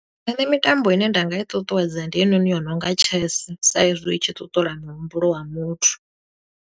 Nṋe mitambo i ne nda nga i ṱuṱuwedza, ndi heinoni yo nonga Chess, sa i zwi i tshi ṱuṱula muhumbulo wa muthu.